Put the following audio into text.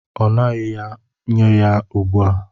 Ọ ṅughị ya, nye ya ugbu a!